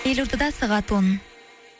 елордада сағат он